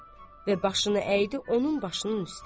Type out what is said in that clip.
Və başını əydi onun başının üstə.